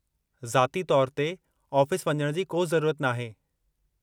ज़ाती तौरु ते ऑफ़िस वञणु जी को ज़रूरत नाहे।